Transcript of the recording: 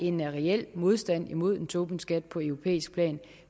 en reel modstand imod en tobinskat på europæisk plan